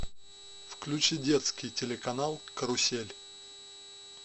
включи детский телеканал карусель